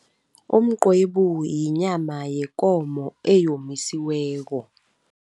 Umqwebu yinyama yekomo eyomisiweko.